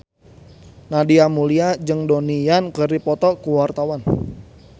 Nadia Mulya jeung Donnie Yan keur dipoto ku wartawan